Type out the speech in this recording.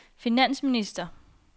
finansminister